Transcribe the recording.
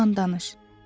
Onunla danış.